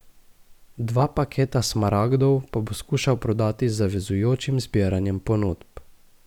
Dva paketa smaragdov pa bo skušal prodati z zavezujočim zbiranjem ponudb.